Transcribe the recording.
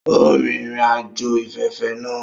O rin irin-ajo ifẹfẹfẹ naa